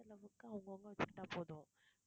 செலவுக்கு அவங்க அவங்க வச்சுக்கிட்டா போதும்.